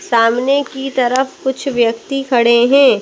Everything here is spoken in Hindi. सामने की तरफ कुछ व्यक्ति खड़े हैं।